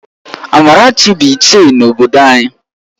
Amarachi bụ Ichie n’obodo anyị